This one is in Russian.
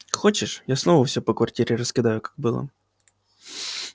хочешь я снова все по квартире раскидаю как было